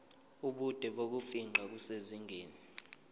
ubude bokufingqa kusezingeni